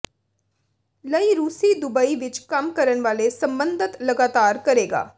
ਲਈ ਰੂਸੀ ਦੁਬਈ ਵਿੱਚ ਕੰਮ ਕਰਨ ਵਾਲੇ ਸਬੰਧਤ ਲਗਾਤਾਰ ਕਰੇਗਾ